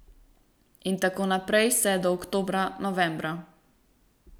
In tako naprej vse do oktobra, novembra.